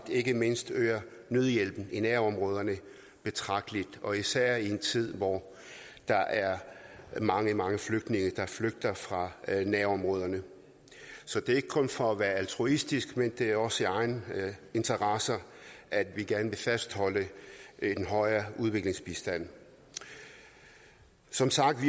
ikke mindst øger nødhjælpen i nærområderne betragteligt og især i en tid hvor der er mange mange flygtninge der flygter fra nærområderne så det er ikke kun for at være altruistiske det er også i egen interesse at vi gerne vil fastholde en højere udviklingsbistand som sagt